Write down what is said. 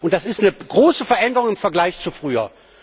Das ist eine große Veränderung im Vergleich zu früher.